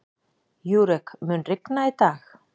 Júrek, mun rigna í dag?